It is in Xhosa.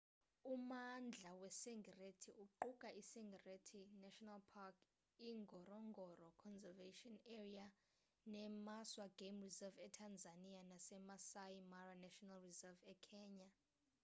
ummandla weserengeti uquka i-serengeti national park ingorongoro conservation area nemaswa game reserve etanzania nasemaasai mara national reserve ekenya